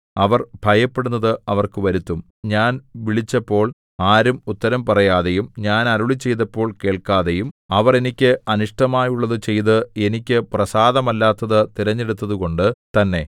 അവർ ഭയപ്പെടുന്നത് അവർക്കും വരുത്തും ഞാൻ വിളിച്ചപ്പോൾ ആരും ഉത്തരം പറയാതെയും ഞാൻ അരുളിച്ചെയ്തപ്പോൾ കേൾക്കാതെയും അവർ എനിക്ക് അനിഷ്ടമായുള്ളതു ചെയ്ത് എനിക്ക് പ്രസാദമല്ലാത്തതു തിരഞ്ഞെടുത്തതുകൊണ്ട് തന്നെ